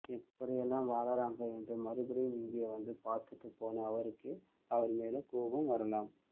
எப்படியெல்லாம் வாழறாங்க என்று மறுபடியும் இங்கே வந்து பாத்துட்டு போன அவருக்கே அவர் மேல கோபம் வரலாம்